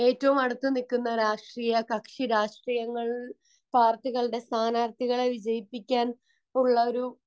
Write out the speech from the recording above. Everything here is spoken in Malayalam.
ഏറ്റവും അടുത്ത് നിൽക്കുന്ന രാഷ്ട്രീയ കക്ഷി രാഷ്ട്രീയങ്ങളിൽ ഉള്ള സ്ഥാനാർത്ഥികൾ ഉള്ള പാർട്ടികളെ ജയിപ്പിക്കാൻ ഉള്ള ഒരു